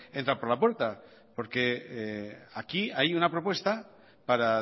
entra por la puerta porque aquí hay una propuesta para